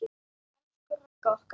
Elsku Ragga okkar.